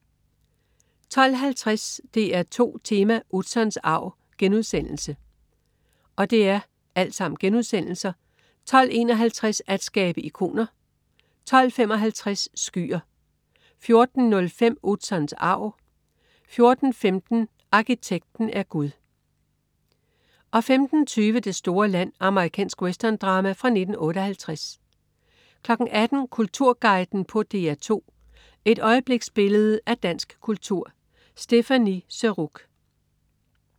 12.50 DR2 Tema: Utzons arv* 12.51 At skabe ikoner* 12.55 Skyer* 14.05 Utzons arv* 14.15 Arkitekten er gud* 15.20 Det store land. Amerikansk westerndrama fra 1958 18.00 Kulturguiden på DR2. Et øjebliksbillede af dansk kultur. Stéphanie Surrugue